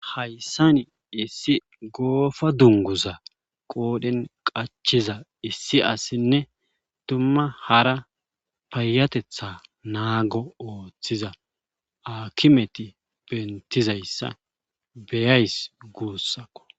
Hayssani issi goofa dunguza qoodhen qachiza issi assinne tumma hara paayatetha naago ooththiza akimeti bentizayssa beyays guussakko.